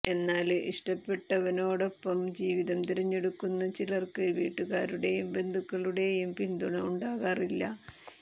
എന്നാല് ഇഷ്ടപ്പെട്ടവനോടൊപ്പം ജീവിതം തിരഞ്ഞെടുക്കുന്ന ചിലര്ക്ക് വീട്ടുകാരുടെയും ബന്ധുക്കളുടെയും പിന്തുണ ഉണ്ടാകാറില്ല